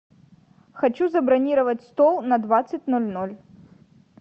хочу забронировать стол на двадцать ноль ноль